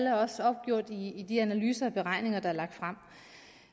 er også opgjort i de analyser og beregninger der er lagt frem